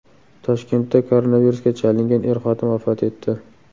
Toshkentda koronavirusga chalingan er-xotin vafot etdi.